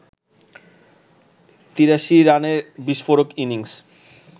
৮৩ রানের বিস্ফোরক ইনিংস